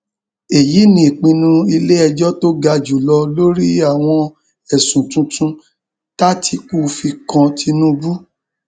èyí ni ìpinnu iléẹjọ tó ga jù lọ lórí àwọn ẹsùn tuntun tátikú fi kan tinubu